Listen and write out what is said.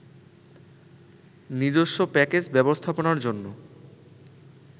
নিজেস্ব প্যাকেজ ব্যবস্থাপনার জন্য